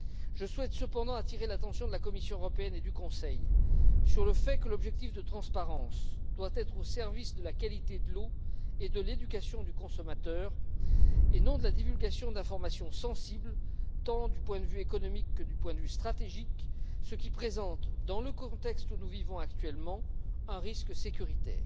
Je souhaite cependant attirer l'attention de la Commission européenne et du Conseil sur le fait que l'objectif de transparence doit être au service de la qualité de l'eau et de l'éducation du consommateur et non de la divulgation d'informations sensibles, tant du point de vue économique que du point de vue stratégique, ce qui présente dans le contexte où nous vivons actuellement, un risque sur le plan de la sécurité.